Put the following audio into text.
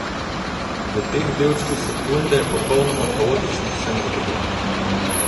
V teh delčkih sekunde, popolnoma kaotičnih, sem ukrepal.